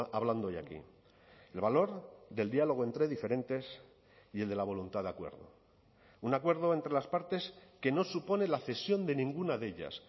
hablando hoy aquí el valor del diálogo entre diferentes y el de la voluntad de acuerdo un acuerdo entre las partes que no supone la cesión de ninguna de ellas